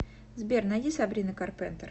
сбер найди сабрина карпентер